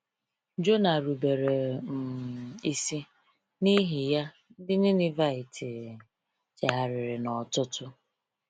Jona rubere um isi, n’ihi ya, ndị Ninevite chegharịrị n’ọtụtụ.